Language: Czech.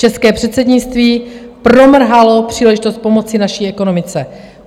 České předsednictví promrhalo příležitost pomoci naší ekonomice.